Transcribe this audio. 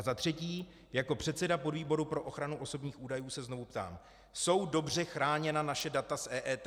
A za třetí, jako předseda podvýboru pro ochranu osobních údajů se znovu ptám: Jsou dobře chráněna naše data z EET?